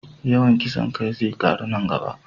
Yawan kisan kai zai ƙaru a nan gaba.